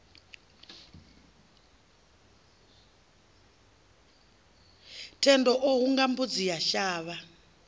thendo o hunga mbudzi yashavha